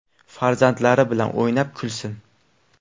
Farzandlari bilan o‘ynab, kulsin!